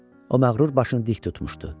O məğrur başın dik tutmuşdu.